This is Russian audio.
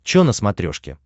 че на смотрешке